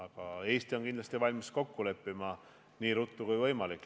Kuid Eesti on kindlasti valmis kokku leppima nii ruttu kui võimalik.